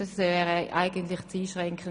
Diese Vorgaben sind zu einschränkend.